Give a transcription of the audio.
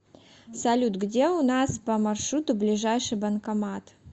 салют где у нас по маршруту ближайший банкомат